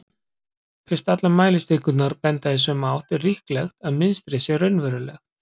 Fyrst allar mælistikurnar benda í sömu átt er líklegt að mynstrið sé raunverulegt.